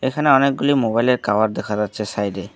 এখানে অনেকগুলি মোবাইলের কাভার দেখা যাচ্ছে সাইডে।